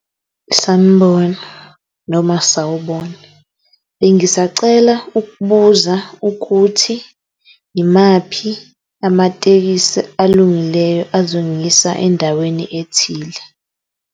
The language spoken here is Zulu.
Sanibona noma sawubona, bengisacela ukubuza ukuthi imaphi amatekisi alungileyo azongiyisa endaweni ethile.